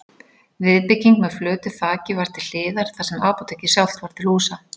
Viðbygging með flötu þaki var til hliðar þar sem apótekið sjálft var til húsa.